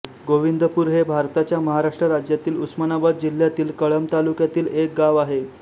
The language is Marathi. गोविंदपूर हे भारताच्या महाराष्ट्र राज्यातील उस्मानाबाद जिल्ह्यातील कळंब तालुक्यातील एक गाव आहे